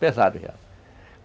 Pesado já.